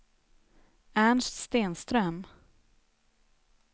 Ernst Stenström